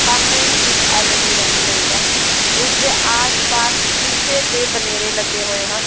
ਸਾਹਮਣੇ ਹੀ ਇੱਕ ਐਲਈਡੀ ਲੱਗੀ ਹੋਈ ਹੈ ਇਸ ਦੇ ਆਸ-ਪਾਸ ਸ਼ੀਸ਼ੇ ਦੇ ਬਨੇਰੇ ਲੱਗੇ ਹੋਏ ਹਨ।